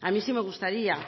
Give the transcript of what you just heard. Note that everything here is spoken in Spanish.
a mí sí me gustaría